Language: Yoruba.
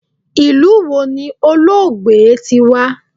Ilu wo ni Olóògbé ti wa?